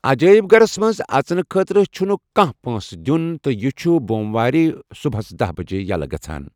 عجٲیب گھرس منز اژنہٕ خٲطرٕ چھُنہٕ کانہہ پٲنٚسہٕ دِیوُن تہٕ یہِ چھُ بوٚم وارِ ورٲیہ صبحس دہ بجے ییلہٕ گژان.